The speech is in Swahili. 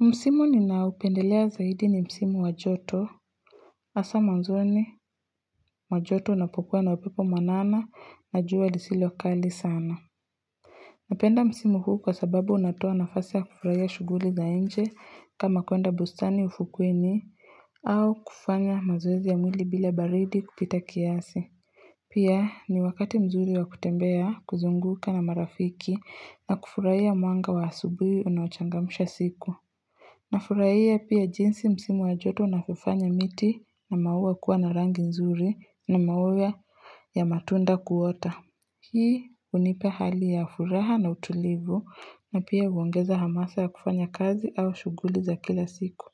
Msimu ninaupendelea zaidi ni Msimu wajoto asa mwanzoni wajoto unapokuwa na wapepo manana na jua nisilokali sana Napenda Msimu huu kwa sababu unatoa nafasa ya kufurahia shuguli za enje kama kuenda bustani ufukuini au kufanya mazowezi ya mwili bila baridi kupita kiasi Pia ni wakati mzuri wa kutembea kuzunguka na marafiki na kufurahia mwanga wa asubuhi unaochangamsha siku na furahia pia jinsi msimu ajoto na fufanya miti na maua kuwa na rangi nzuri na maua ya matunda kuota. Hii unipa hali ya furaha na utulivu na pia uongeza hamasa ya kufanya kazi au shuguli za kila siku.